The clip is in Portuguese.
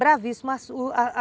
Bravíssimo